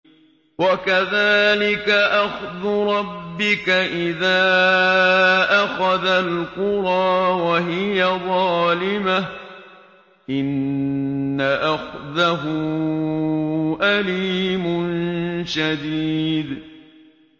وَكَذَٰلِكَ أَخْذُ رَبِّكَ إِذَا أَخَذَ الْقُرَىٰ وَهِيَ ظَالِمَةٌ ۚ إِنَّ أَخْذَهُ أَلِيمٌ شَدِيدٌ